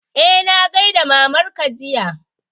Eh, na gaida mamar ka jiya